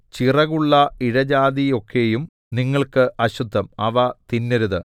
ചിറകുള്ള ഇഴജാതിയൊക്കെയും നിങ്ങൾക്ക് അശുദ്ധം അവ തിന്നരുത്